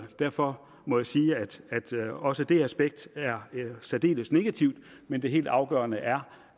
derfor må jeg sige at også det aspekt er særdeles negativt men det helt afgørende er